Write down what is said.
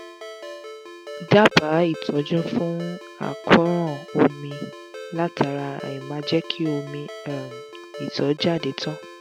dábàá ìtọ́jú fún àkóràn omi látara aìmáa jẹ́ kí omi um ìtọ̀ jáde tán